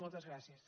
moltes gràcies